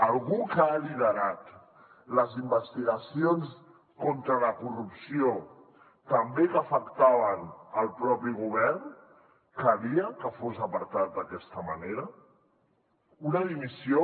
algú que ha liderat les investigacions contra la corrupció que també afectaven el propi govern calia que fos apartat d’aquesta manera una dimissió